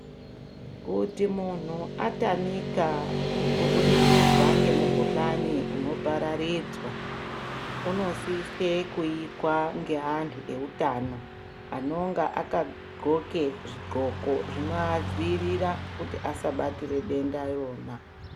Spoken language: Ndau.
Kuti muntu atamika kubudikidza ngemukuhlani unopararidzwa unosise kuikwa ngeantu eutano. Anonga akadhloke zvidhloko zvinoadzirira kuti asabatire denda irona.